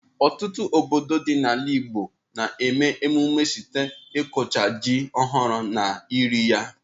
Ọtụtụ obodo ndị dị n'ala Igbo na-eme emume site n'ịkụcha ji ọhụrụ na iri ya.